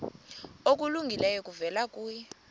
okulungileyo kuvela kuye